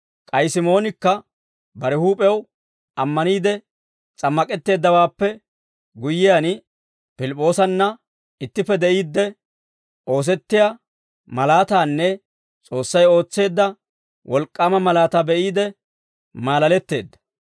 K'ay Simoonikka bare huup'ew ammaniide s'ammak'etteeddawaappe guyyiyaan, Pilip'p'oosanna ittippe de'iidde, oosettiyaa malaataanne S'oossay ootseedda wolk'k'aama malaataa be'iide maalaletteedda.